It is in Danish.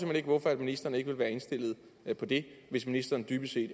hen ikke hvorfor ministeren ikke vil være indstillet på det hvis ministeren dybest set